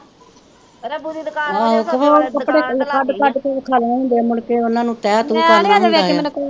ਤੇ ਹੋਰ ਕੱਪੜੇ ਕੱਡ ਕੱਡ ਕੇ ਵਖਾਉਣੇ ਹੁੰਦੇ ਆ ਮੁੜਕੇ ਉਹਨਾਂ ਨੂੰ ਤੈ ਤੂ ਕਰਨਾ ਹੁੰਦਾ ਏ